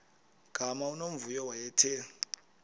gama unomvuyo wayethe